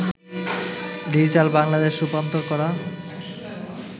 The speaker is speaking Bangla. ডিজিটাল বাংলাদেশ' রূপান্তর করা